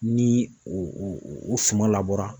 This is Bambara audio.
Ni o o o suma labɔra